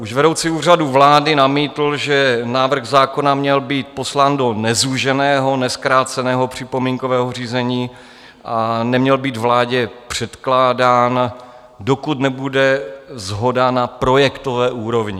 Už vedoucí Úřadu vlády namítl, že návrh zákona měl být poslán do nezúženého, nezkráceného připomínkového řízení a neměl být vládě předkládán, dokud nebude shoda na projektové úrovni.